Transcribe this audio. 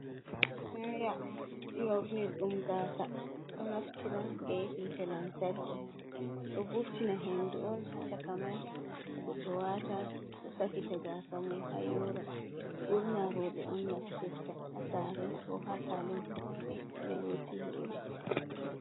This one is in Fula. Ɗiraya nyornir dum gasa. Ɗo naftira be hita lantarki. Ɗo vurtina hendu on ha cakamai. Bo ɗo wata do safita gasa mum ha yoora. Burna robeon naftirta ha sare. Ko ha salun be loti hore.